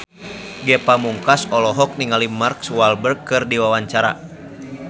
Ge Pamungkas olohok ningali Mark Walberg keur diwawancara